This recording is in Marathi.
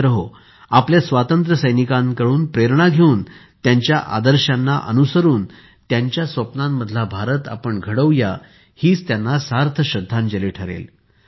मित्रहो आपल्या स्वातंत्र्यसैनिकांकडून प्रेरणा घेऊन त्यांच्या आदर्शांना अनुसरून त्यांच्या स्वप्नांमधला भारत आपण घडवूया हीच त्यांना सार्थ श्रद्धांजली ठरेल